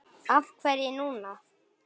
Af hverju núna?